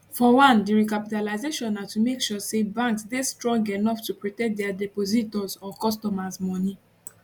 for one di recapitalisation na to make sure say banks dey strong enough to protect dia depositors or customers moni